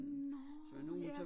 Nårh ja